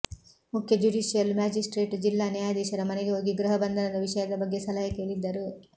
ಮುಖ್ಯ judicial magistrate ಜಿಲ್ಲಾ ನ್ಯಾಯಾಧೀಶರ ಮನೆಗೆ ಹೋಗಿ ಗೃಹ ಬಂಧನದ ವಿಷಯದ ಬಗ್ಗೆ ಸಲಹೆ ಕೇಳಿದ್ದರು